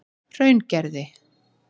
Hraungerði